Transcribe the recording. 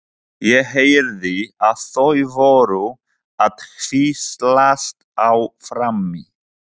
Ég heyrði að þau voru að hvíslast á frammi.